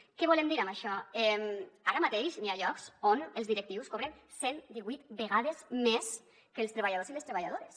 què volem dir amb això ara mateix hi ha llocs on els directius cobren cent divuit vegades més que els treballadors i les treballadores